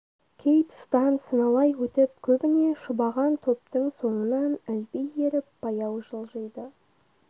кей тұстан сыналай өтіп көбіне шұбаған топтың соңынан ілби еріп баяу жылжиды